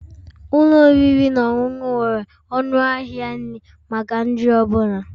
Ụlọ oriri na ọṅụṅụ nwere ọnụ ahịa nri maka nri ọ bụla